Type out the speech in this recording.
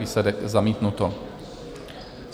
Výsledek: zamítnuto.